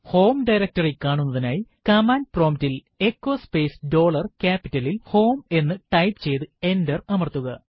home directory കാണുന്നതിനായി command prompt ൽ echo space dollar ക്യാപിറ്റലിൽ h o m ഇ എന്ന് ടൈപ്പ് ചെയ്തു എന്റർ അമർത്തുക